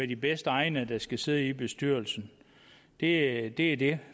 de bedst egnede der skal sidde i bestyrelsen det er det det